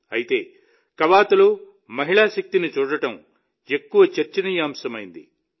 అయితే కవాతులో మహిళా శక్తిని చూడడం ఎక్కువగా చర్చనీయాంశమైంది